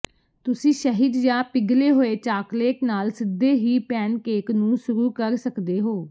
ਤੁਸੀਂ ਸ਼ਹਿਦ ਜਾਂ ਪਿਘਲੇ ਹੋਏ ਚਾਕਲੇਟ ਨਾਲ ਸਿੱਧੇ ਹੀ ਪੈਨਕੇਕ ਨੂੰ ਸੁਰੂ ਕਰ ਸਕਦੇ ਹੋ